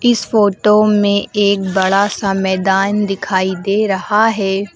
इस फोटो में एक बड़ा सा मैदान दिखाई दे रहा है।